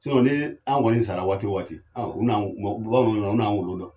ni an kɔni sara waati wo waati ɔn u n'an bamananw n'an wolo dɔn.